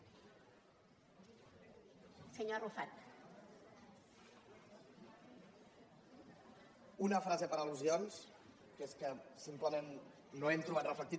una frase per al·lusions que és que simplement no hem trobat reflectit